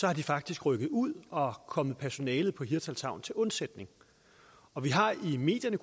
er de faktisk rykket ud og er kommet personalet på hirtshals havn til undsætning og vi har i medierne